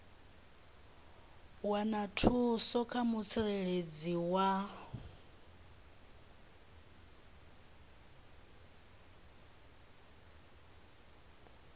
wana thuso kha mutsireledzi wa